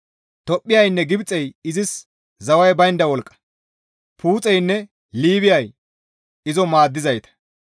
Tophphiyaynne Gibxey izis zaway baynda wolqqa; Puuxeynne Liibiyay izo maaddizayta;